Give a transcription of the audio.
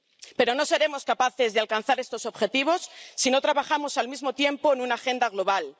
Pero no seremos capaces de alcanzar estos objetivos si no trabajamos al mismo tiempo en una agenda global.